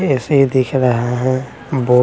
ऐसे ही दिख रहा है --